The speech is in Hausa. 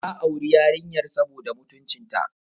Ya auri yarinyar saboda mutuncinta.